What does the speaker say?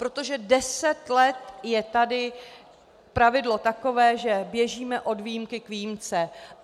Protože deset let je tady pravidlo takové, že běžíme od výjimky k výjimce.